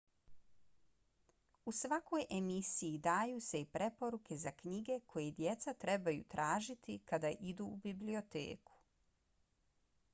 u svakoj emisiji daju se i preporuke za knjige koje djeca trebaju tražiti kada idu u biblioteku